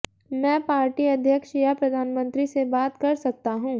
मैं पार्टी अध्यक्ष या प्रधानमंत्री से बात कर सकता हूं